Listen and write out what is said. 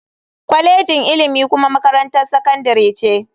Kwalejin ilimi kuma makarantar sakandare ce.